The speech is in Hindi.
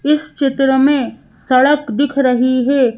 इस चित्र में सड़क दिख रही है।